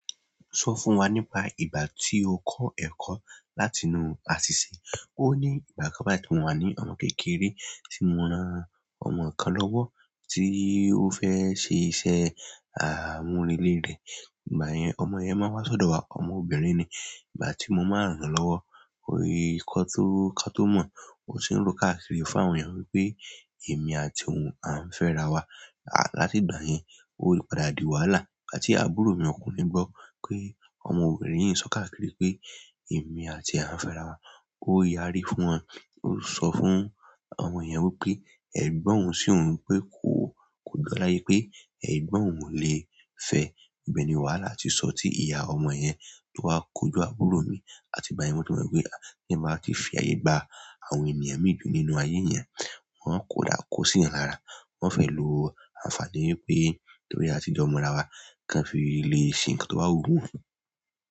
Sọ fún wa nípa ìgbà tí ó kọ́ ẹ̀kọ́ láti inú àṣìṣe. Ó ní ìgbà kan báyi ti mo wà ní ọmọ kékeré tí mo ran ọmọ kan lọ́wọ́ tí ó fẹ́ ṣe iṣẹ́ àmúrelé rẹ̀. Ìgbà yẹn ọmọ yẹn máa wá ṣọ̀dọ̀ wa, ọmọ obìnrin ni. Ìgbà tí mo máa ránlọ́wọ́, ó rí nkan tó ká tó mọ̀, ó se ń ro káàkiri fún àwọn èèyàn wípé èmi àti òun a ń fẹ́ ara wa. Látì ìgbà yẹn, ó padà di wàhálà igbàti àbúrò mi ọkùnrin gbọ́ pé ọmọ obìnrin yìí ń sọ káàkiri pé èmi àti e a ń fẹ́ ara wa. Ó yari fún wọn, ó sọ fún àwọn èèyàn wípé ẹgbọ́n oun sí oun, pé kògbá láyé pé ẹgbọ́n òun ò lè fẹ́. Ìbẹ́ ni wàhálà ti sọ tí ìyá ọmọ yẹn tó wá kojú àbúrò mi àti ìgbà yẹn mo ti mọ̀ pé bí eeyan bá ti fi ààyè gba àwọn ènìyàn mii ju nínú ayé eeyan, wọn á ko sí eeyàn lára. Wọn fẹ́ lo àǹfààní wipé torí àti jọ́ mọ ara wa kan fi le ṣe nǹkan tó bà wú won.